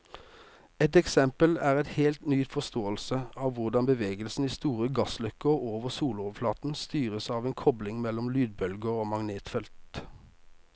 Et eksempel er en helt ny forståelse av hvordan bevegelsen i store gassløkker over soloverflaten styres av en kobling mellom lydbølger og magnetfeltet.